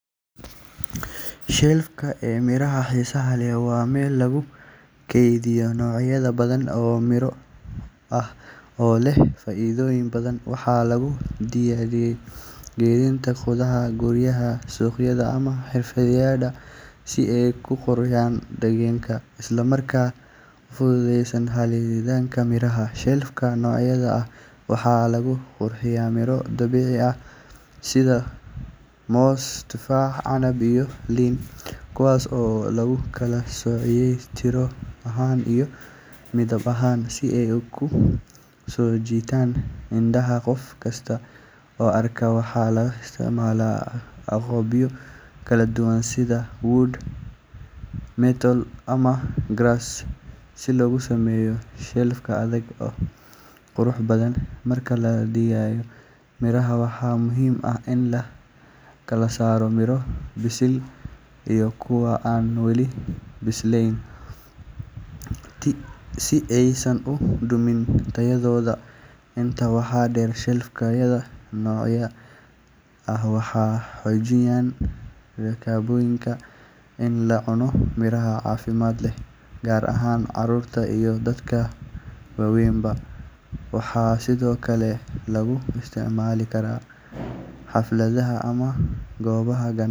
Shelf ee miraha xiisaha leh waa meel lagu kaydiyo noocyo badan oo miro ah oo leh faa’iidooyin badan. Waxaa lagu dhejiyay gidaarada gudaha guryaha, suuqyada ama xafiisyada si ay u qurxiyaan deegaanka isla markaana u fududeeyaan helitaanka miraha. Shelf-ka noocaan ah waxaa lagu qurxiyaa miro dabiici ah sida moos, tufaax, canab iyo liin, kuwaas oo lagu kala soocay tiro ahaan iyo midab ahaan si ay u soo jiitaan indhaha qof kasta oo arka. Waxaa la isticmaalaa agabyo kala duwan sida wood, metal ama glass si loogu sameeyo shelf adag oo qurux badan. Marka la dhigayo miraha, waxaa muhiim ah in la kala saaro miro bisil iyo kuwa aan weli bislaan si aysan u dhumin tayadooda. Intaa waxaa dheer, shelf-yada noocan ah waxay xoojiyaan rabitaanka in la cuno miro caafimaad leh, gaar ahaan carruurta iyo dadka waaweynba. Waxaa sidoo kale lagu isticmaali karaa xafladaha ama goobaha